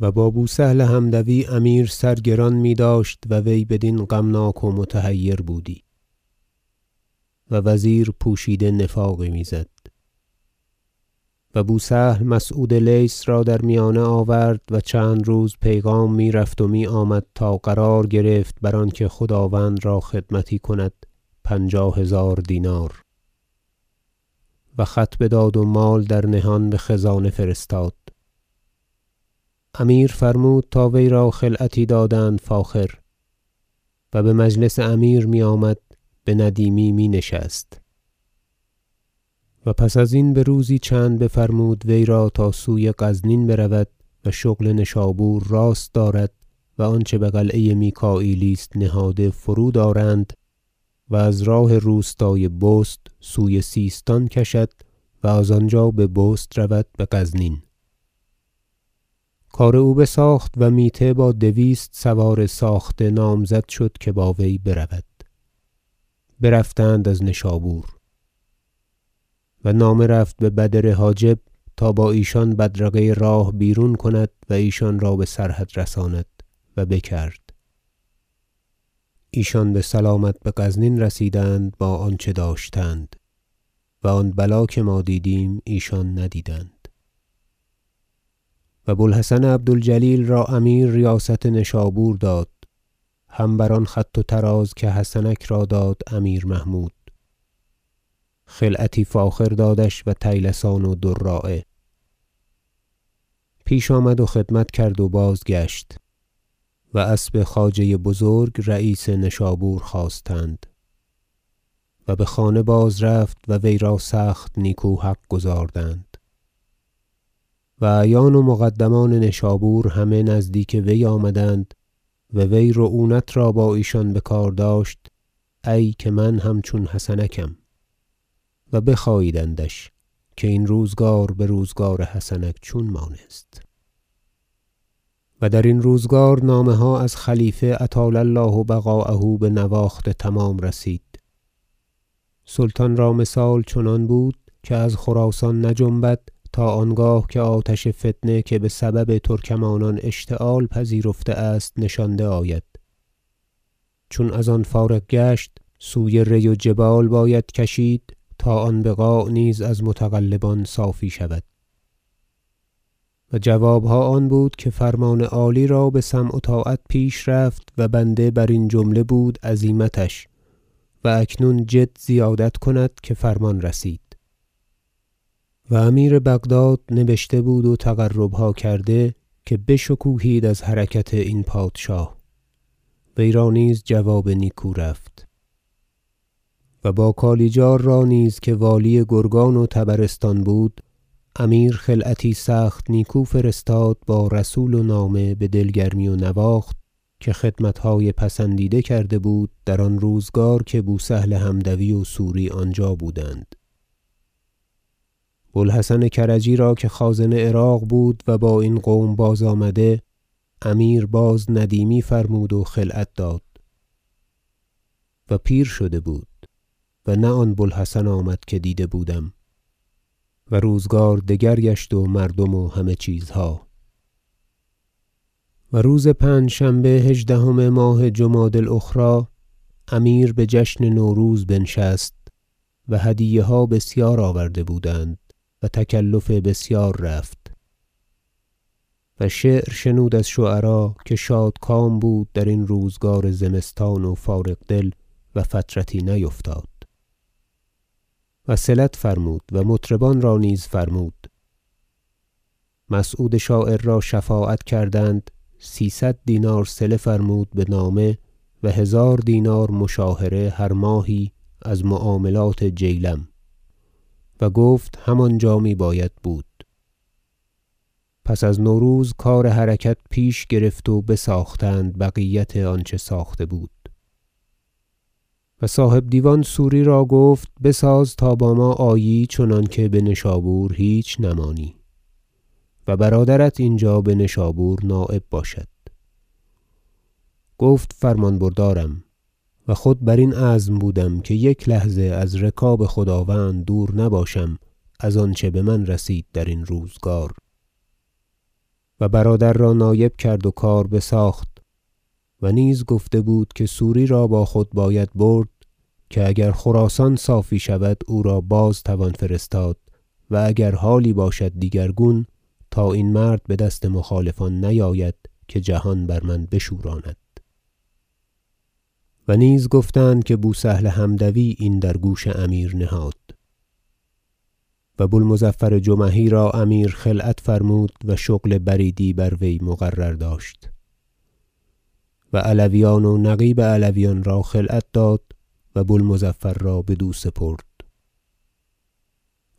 و با بو سهل حمدوی امیر سر گران میداشت و وی بدین غمناک و متحیر بودی و وزیر پوشیده نفاقی میزد و بو سهل مسعود لیث را در میانه آورد و چند روز پیغام میرفت و میآمد تا قرار گرفت بر آنکه خداوند را خدمتی کند پنجاه هزار دینار و خط بداد و مال در نهان بخزانه فرستاد امیر فرمود تا وی را خلعتی دادند فاخر و بمجلس امیر میآمد بندیمی می نشست و پس ازین بروزی چند بفرمود وی را تا سوی غزنین برود و شغل نشابور راست دارد و آنچه بقلعه میکاییلی است نهاده فرود آرند و از راه روستای بست سوی سیستان کشد و از آنجا به راه بست رود بغزنین کار او بساخت و میته با دویست سوار ساخته نامزد شد که با وی برود برفتند از نشابور و نامه رفت به بدر حاجب تا با ایشان بدرقه راه بیرون کند و ایشان را بسرحد رساند و بکرد ایشان بسلامت بغزنین رسیدند با آنچه داشتند و آن بلا که ما دیدیم ایشان ندیدند و بو الحسن عبد الجلیل را امیر ریاست نشابور داد هم بر آن خط و طراز که حسنک را داد امیر محمود خلعتی فاخر دادش و طیلسان و دراعه پیش آمد و خدمت کرد و بازگشت و اسب خواجه بزرگ رییس نشابور خواستند و بخانه باز رفت و وی را سخت نیکو حق گزاردند و اعیان و مقدمان نشابور همه نزدیک وی آمدند و وی رعونت را با ایشان بکار داشت ای که من هم چون حسنکم و بخاییدندش که این روزگار بروزگار حسنک چون مانست و درین روزگار نامه ها از خلیفه اطال الله بقاءه بنواخت تمام رسید سلطان را مثال چنان بود که از خراسان نجنبد تا آنگاه که آتش فتنه که بسبب ترکمانان اشتعال پذیرفته است نشانده آید چون از آن فارغ گشت سوی ری و جبال باید کشید تا آن بقاع نیز از متغلبان صافی شود و جوابها آن بود که فرمان عالی را بسمع و طاعت پیش رفت و بنده برین جمله بود عزیمتش و اکنون جد زیادت کند که فرمان رسید و امیر بغداد نیز نامه نبشته بود و تقربها کرده که بشکوهید از حرکت این پادشاه وی را نیز جواب نیکو رفت و با کالیجار را نیز که والی گرگان و طبرستان بود امیر خلعتی سخت نیکو فرستاد با رسول و نامه بدل گرمی و نواخت که خدمتهای پسندیده کرده بود در آن روزگار که بو سهل حمدوی و سوری آنجا بودند بو الحسن کرجی را که خازن عراق بود و با این قوم باز آمده امیر باز ندیمی فرمود و خلعت داد و پیر شده بود و نه آن بو الحسن آمد که دیده بودم و روزگار دگر گشت و مردم و همه چیزها و روز پنجشنبه هژدهم ماه جمادی الأخری امیر بجشن نوروز بنشست و هدیه ها بسیار آورده بودند و تکلف بسیار رفت و شعر شنود از شعرا که شادکام بود درین روزگار زمستان و فارغ دل و فترتی نیفتاد و صلت فرمود و مطربان را نیز فرمود مسعود شاعر را شفاعت کردند سیصد دینار صله فرمود بنامه و هزار دینار مشاهره هر ماهی از معاملات جیلم و گفت هم آنجا میباید بود پس از نوروز کار حرکت پیش گرفت و بساختند بقیت آنچه ساخته بود و صاحب دیوان سوری را گفت بساز تا با ما آیی چنانکه بنشابور هیچ نمانی و برادرت اینجا به نشابور نایب باشد گفت فرمان بردارم و خود برین عزم بودم که یک لحظه از رکاب خداوند دور نباشم از آنچه بمن رسید درین روزگار و برادر را نایب کرد و کار بساخت و نیز گفته بود که سوری را با خود باید برد که اگر خراسان صافی شود او را باز توان فرستاد و اگر حالی باشد دیگرگون تا این مرد بدست مخالفان نیاید که جهان بر من بشوراند و نیز گفتند که بو سهل حمدوی این درگوش امیر نهاد و بو المظفر جمحی را امیر خلعت فرمود و شغل بریدی بر وی مقرر داشت و علویان و نقیب علویان را خلعت داد و بو المظفر را بدو سپرد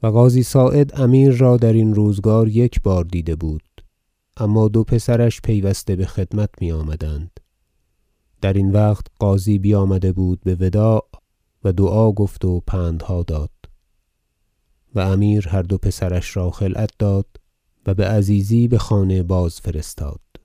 و قاضی صاعد امیر را درین روزگار یک بار دیده بود اما دو پسرش پیوسته بخدمت میآمدند درین وقت قاضی بیامده بود بوداع و دعا گفت و پندها داد و امیر هر دو پسرش را خلعت داد و بعزیزی بخانه باز- فرستادند